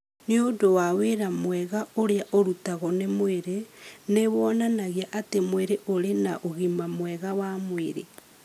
Nĩ ũndũ wa wĩra mwega ũrĩa ũrutagwo nĩ mwĩrĩ, nĩ wonanagia atĩ mwĩrĩ ũrĩ na ũgima mwega wa mwĩrĩ.